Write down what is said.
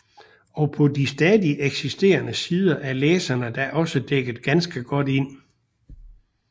Og på de stadig eksisterende sider er læserne da også dækket ganske godt ind